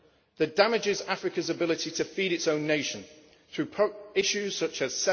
This damages Africa's ability to feed its own nations through issues such